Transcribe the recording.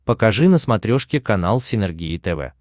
покажи на смотрешке канал синергия тв